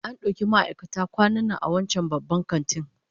An dauki ma'aikata kwanan nan a wancan babban kantin